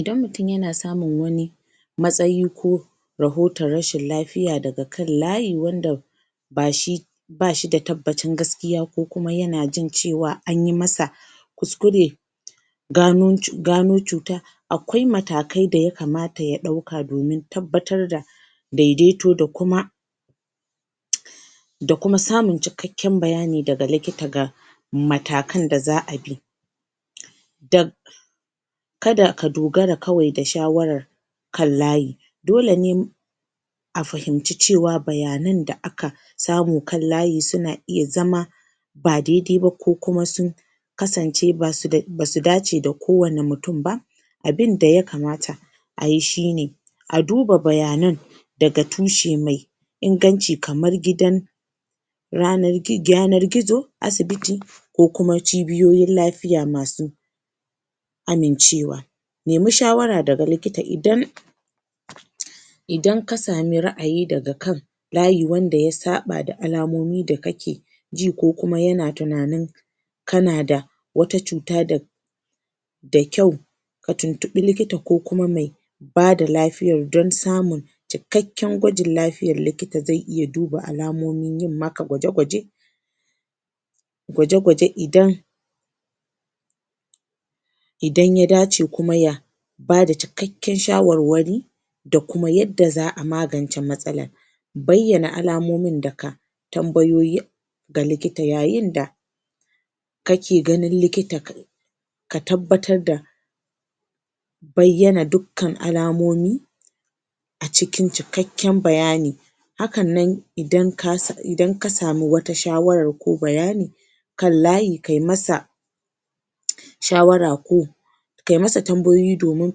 Idan mutum yana samun matsayi ko rohoton rashin lafiya daga kan layi wanda ba shi da tabbasa gaskiya ko yana jin cewa an yi masa kuskure gano cuta akwai matakai da ya kamata ya ɗauka don tabbatar da daidaito da kuma da kuma samun cikakken bayani daga likita ga matakan da za a bi don ka da ka dogara kawai da shawarar kan layi dole ne a fahimci cewa bayanan da aka samu kan layi suna iya zama ba daidai ba ko kuma sun kasance ba su da ce da kowane mutum ba abin da ya kamata a yi shi ne a duba bayanan daga tushe mai inganci kamar gidan yanar gizo, asibiti ko kuma cibiyoyin lafiya ma su amincewa nemi shawara daga likita idan idan ka sami ra'ayi daga kan layi wanda ya saɓa da alamomi da kake ji ko kuma yana tunanin kana da wata cuta da da kyau ka tuntuɓi likita ko kuma mai ba da lafiyar don samun cikakken gwajin lafiyar likita zai iya duba alamonin yi maka gwaje-gwaje gwaje-gwaje idan idan ya dace kuma ya ba da cikakken shawarwari da kuma yadda za a magance matsalar bayyana alamomin da ka tambayoyi ga likita yayin da kake ganin likita ka tabbatar da bayyana dukkan alamomi a cikin cikakken bayani hakan nan idan ka sami wata shawarar ko bayani kan layi kai masa shawara ko kai masa tambayoyi domin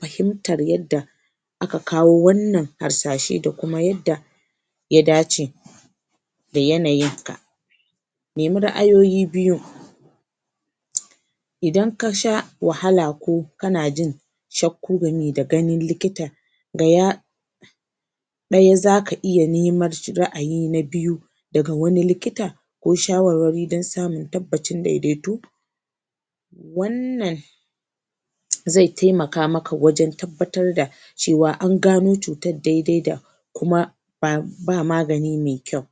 fahimtar yadda aka kawo wannan harsashe da kuma yadda ya dace da yanayinka. nemi ra'ayoyi biyu idan ka sha wahala ko kana jin shakku game da ganin likta ga ya ɗaya za ja iya neman ra'ayi na biyu daga wani likita ko shawarwari don samun tabbacin daidaito wannan zai taimaka wajen tabbatar da cewa an gano cutar dai-dai da kuma ba magani mai kyau.